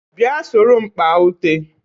Bia soro m kpá ute